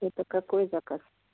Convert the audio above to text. это какой заказ